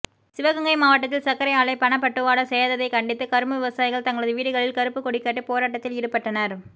சிவகங்கை மாவட்டத்தில் சர்க்கரை ஆலை பணப்பட்டுவாடா செய்யாததைக் கண்டித்து கரும்பு விவசாயிகள் தங்களது வீடுகளில் கருப்புக் கொடிகட்டி போராட்டத்தில் ஈடுபட்டனர்